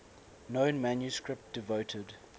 known manuscript devoted